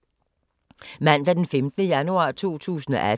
Mandag d. 15. januar 2018